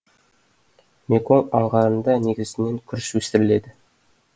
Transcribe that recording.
меконг аңғарында негізінен күріш өсіріледі